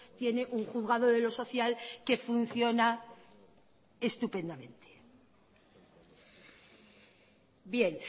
tiene un juzgado de los social que funciona estupendamente bien